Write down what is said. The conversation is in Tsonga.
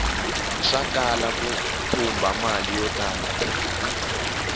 swakala ku thumba mali yo tala